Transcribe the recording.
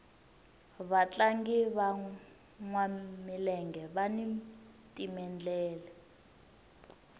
vatlangi vanwa milenge vani timendlele